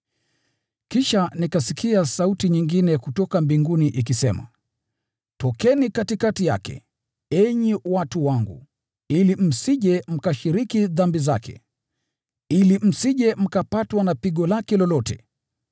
Kisha nikasikia sauti nyingine kutoka mbinguni ikisema: “Tokeni katikati yake, enyi watu wangu, ili msije mkashiriki dhambi zake, ili msije mkapatwa na pigo lake lolote;